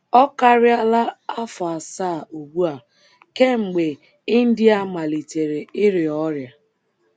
Ọ karịala afọ asaa ugbu a kemgbe India malitere ịrịa ọrịa.